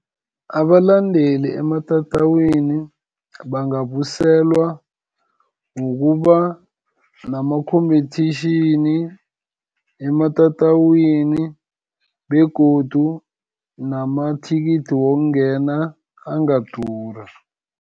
Abalandeli ematatawini, bangabuyiselwa ngokuba nama-competition, ematatawini begodu namathikithi wokungena angadura.